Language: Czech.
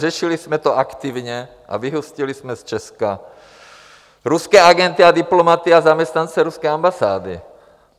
Řešili jsme to aktivně a vyhostili jsme z Česka ruské agenty a diplomaty a zaměstnance ruské ambasády.